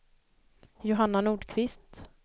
Johanna Nordqvist